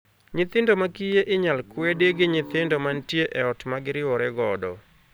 Nyithindo ma kiye inyal kwedi gi nyithindo mantie e ot ma giriwore godo.